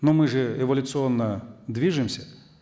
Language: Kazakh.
но мы же эволюционно движемся